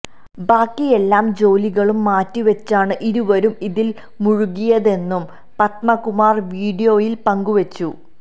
ബാക്കിയെല്ലാ ജോലികളും മാറ്റിവച്ചാണ് ഇരുവരും ഇതില് മുഴുകിയതെന്നും പത്മകുമാര് വീഡിയോയില് പങ്കുവച്ചു